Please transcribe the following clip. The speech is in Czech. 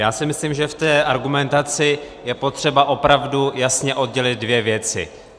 Já si myslím, že v té argumentaci je potřeba opravdu jasně oddělit dvě věci.